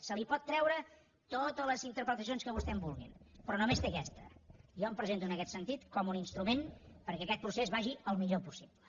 se li pot treure totes les interpretacions que vostès vulguin però només té aquesta jo em presento en aquest sentit com un instrument perquè aquest procés vagi el millor possible